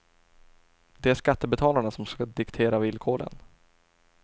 Det är skattebetalarna som ska diktera villkoren.